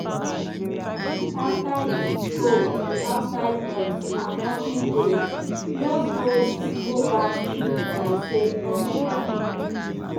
after e scope the outside noise and nothing dey e just ghost go back sleep like say nothing happen.